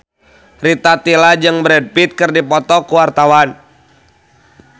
Rita Tila jeung Brad Pitt keur dipoto ku wartawan